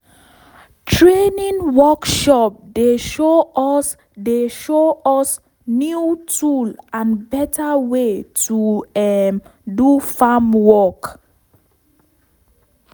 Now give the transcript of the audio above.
training workshop dey show us dey show us new tool and better way to um do farm work.